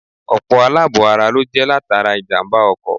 Ọ̀pọ̀ àlàbò-ara ló jẹ́ latara ìjàmbá-ọkọ̀.